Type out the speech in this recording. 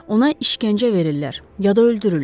Ona işgəncə verirlər, ya da öldürürlər.